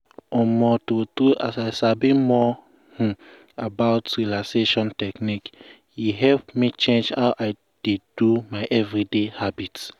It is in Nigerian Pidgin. um true true as i sabi more um about relaxation technique e help me change how i dey do my everyday habit.